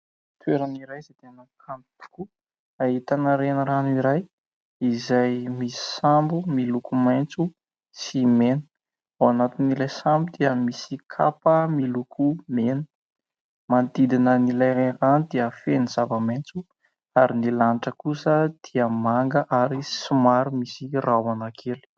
Toerana iray izay tena kanto tokoa. Ahitana renirano iray izay misy sambo miloko maitso sy mena, ao anatin'ilay sambo dia misy kapa miloko mena. Manodidina an'ilay renirano dia feno zava-maitso ary ny lanitra kosa dia manga ary somary misy rahona kely.